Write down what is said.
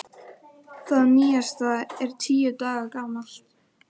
Gagnvirkt mat: Lykill að auknum gæðum í skólastarfi?